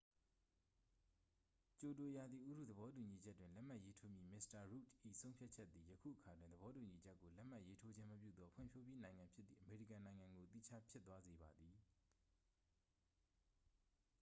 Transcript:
ကျိုတို ရာသီဥတုသဘောတူညီချက်တွင် လက်မှတ်ရေးထိုးမည့်မစ္စတာရုတ်ဒ် ၏ဆုံးဖြတ်ချက်သည် ယခုအခါတွင် သဘောတူညီချက်ကို လက်မှတ်ရေးထိုးခြင်းမပြုသော ဖွံ့ဖြိုးပြီးနိုင်ငံဖြစ်သည့် အမေရိကန်နိုင်ငံကို သီးခြားဖြစ်သွားစေပါသည်